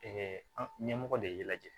an ɲɛmɔgɔ de ye lajɛ